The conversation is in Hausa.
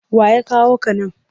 Wa ya kawo ka nan?